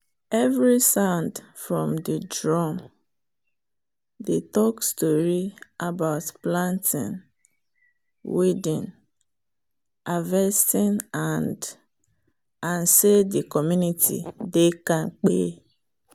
every sound from the drum dey talk story about planting weeding harvesting and and say the community dey kampe.